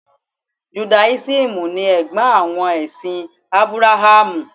Judáísímù ni Ẹ̀gbọ́n àwọn ẹ̀sìn Ábúráhámù.